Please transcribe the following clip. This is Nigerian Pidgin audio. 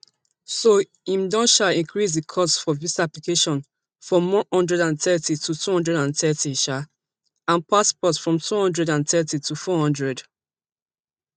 so im don um increase di cost for visa application from one hundred and thirty to two hundred and thirty um and passport from two hundred and thirty to four hundred